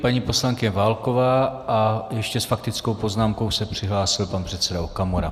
Paní poslankyně Válková a ještě s faktickou poznámkou se přihlásil pan předseda Okamura.